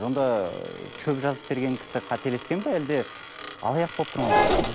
онда ы шөп жазып берген кісі қателескен бе әлде алаяқ болып тұр ма бұл жерде